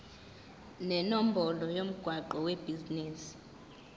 nenombolo yomgwaqo webhizinisi